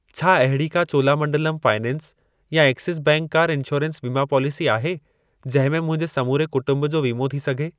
छा अहिड़ी का चोलामंडलम फाइनेंस या एक्सिस बैंक कार इंश्योरेंस वीमा पॉलिसी आहे जंहिं में मुंहिंजे समूरे कुटुंब जो वीमो थी सघे?